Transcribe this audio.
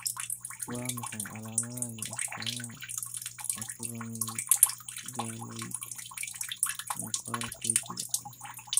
Waa maxay calaamadaha iyo astamaha Acromegaloid muuqaalka wajiga?